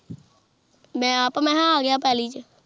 ਮੈਂ ਅੱਪ ਮੈਂ ਕਿਹਾ ਆ ਗਿਆਪਹਲੀ ਚ